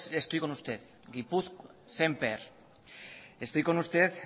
estoy con usted